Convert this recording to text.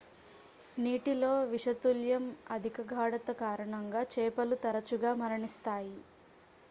నీటిలో విషతుల్యం అధిక గాఢత కారణంగా చేపలు తరచుగా మరణిస్తాయి